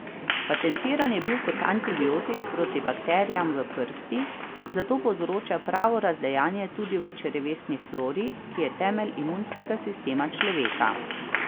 Patentiran je bil kot antibiotik proti bakterijam v prsti, zato povzroča pravo razdejanje tudi v črevesni flori, ki je temelj imunskega sistema človeka.